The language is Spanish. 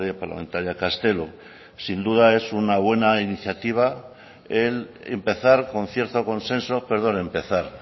parlamentaria castelo sin duda es una buena iniciativa el empezar con cierto consenso perdón empezar